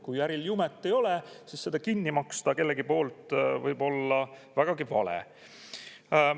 Kui äril jumet ei ole, siis seda kinni maksta kellegi poolt võib olla vägagi vale.